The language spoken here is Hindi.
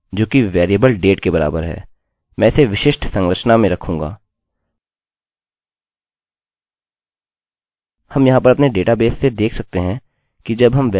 हम यहाँ पर अपने डेटाबेस से देख सकते हैं कि जब हम वेल्यू प्रविष्ट करने जाते हैं हम नीचे आ सकते हैं और देख सकते हैं कि हमारे कैलेंडर फंक्शन में दिनाँक है